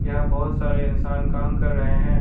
यहां बहुत सारे इंसान काम कर रहे हैं।